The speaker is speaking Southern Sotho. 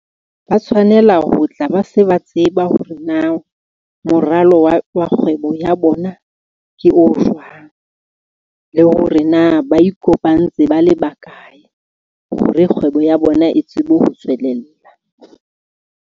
Ba tshwanela ho tla ba se ba tseba hore na moralo wa kgwebo ya bona ke o jwang, le hore na ba ikopantse ba le ba kae hore kgwebo ya bona e tsebe ho tswelella.